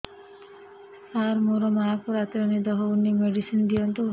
ସାର ମୋର ମାଆଙ୍କୁ ରାତିରେ ନିଦ ହଉନି ମେଡିସିନ ଦିଅନ୍ତୁ